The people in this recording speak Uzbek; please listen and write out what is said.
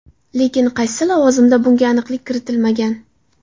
Lekin qaysi lavozimda bunga aniqlik kiritilmagan.